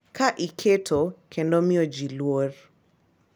Ka iketo kendo miyo ji luor,